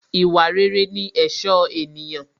Ìwà rere ní ẹ̀ṣọ́ ènìyàn